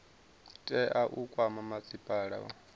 tea u kwama masipala wa